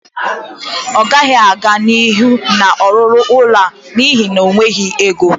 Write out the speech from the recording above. Ọ gaghị aga n'ihu na-ọrụrụ ụlọ ya n'ihi enweghị ego